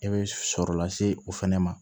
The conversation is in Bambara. I bɛ sɔrɔ lase o fana ma